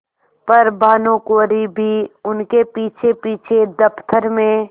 पर भानुकुँवरि भी उनके पीछेपीछे दफ्तर में